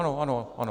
Ano, ano, ano.